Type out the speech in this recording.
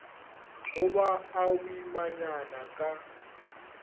go ba a boimanyana ka